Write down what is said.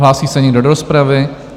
Hlásí se někdo do rozpravy?